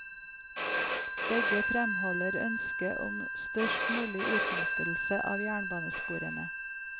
Begge fremholder ønsket om størst mulig utnyttelse av jernbanesporene.